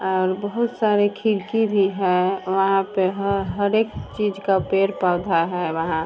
और बहुत सारी खिड़की भी है। वहाँ पे ह हर एक चीज का पेड़-पौधा है वहाँ।